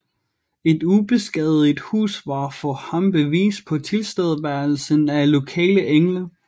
Et ubeskadiget hus var for ham bevis på tilstedeværelsen af lokale engle